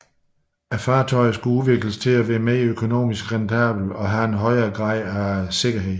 Fartøjerne skulle udvikles til at være mere økonomisk rentable og have en højere grad af sikkerhed